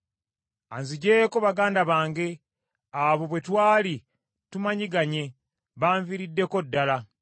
“Anziggyeeko baganda bange; abo bwe twali tumanyiganye banviiriddeko ddala.